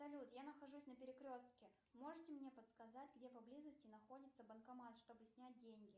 салют я нахожусь на перекрестке можете мне подсказать где поблизости находится банкомат чтобы снять деньги